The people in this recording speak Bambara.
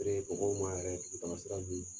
yɛrɛ dugutaga sira